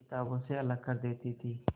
किताबों से अलग कर देती थी